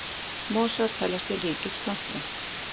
Mosar teljast til ríkis plantna.